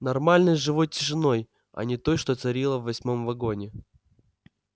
нормальной живой тишиной а не той что царила в восьмом вагоне